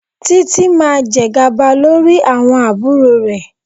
Títí máa jẹ gàba lórí àwọn àbúrò rẹ̀.